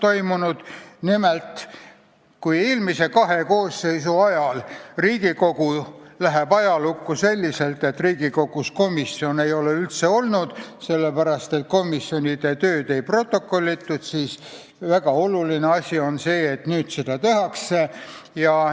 Nimelt, kui Riigikogu eelmised kaks koosseisu lähevad ajalukku selliselt, et Riigikogus komisjone justkui üldse ei oleks olnud, sest komisjonide tööd ei protokollitud, siis nüüd seda tehakse ja see on väga oluline.